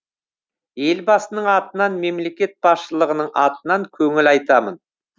елбасының атынан мемлекет басшылығының атынан көңіл айтамын